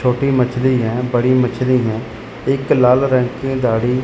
छोटी मछली हैं बड़ी मछली हैं एक लाल रंग की दाढ़ी--